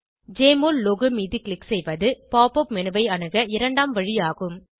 JMOL logo மீது click செய்வது pop up menu ஐ அணுக இரண்டாம் வழி ஆகும்